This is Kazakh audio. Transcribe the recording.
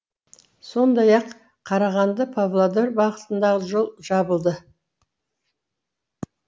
сондай ақ қарағанды павлодар бағытындағы жол жабылды